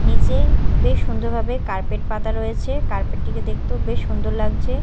নীচে বেশ সুন্দরভাবে কার্পেট পাতা রয়েছে কার্পেট -টিকে দেখতেও বেশ সুন্দর লাগছে।